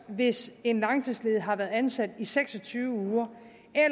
hvis en langtidsledig har været ansat i seks og tyve